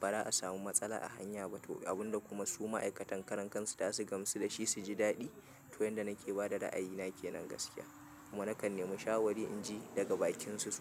ba za a samu matsala a hanya ba to abunda kuma su ma'aikatan karankansu za su gamsu dashi su ji daɗi. To, yanda nake bada ra'ayina ke nan gaskiya kuma nakan nemi shawari inji daga bakinsu sosai.